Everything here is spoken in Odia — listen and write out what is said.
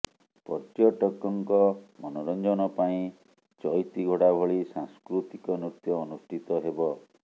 ପର୍ଯ୍ୟଟକଙ୍କ ମନୋରଂଜନ ପାଇଁ ଚଇତି ଘୋଡ଼ା ଭଳି ସାଂସ୍କୃତିକ ନୃତ୍ୟ ଅନୁଷ୍ଠିତ ହେବ